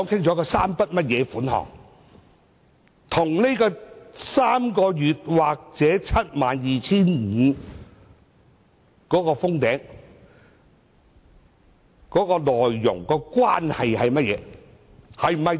這3筆款項與3個月工資或 72,500 元上限有何關係？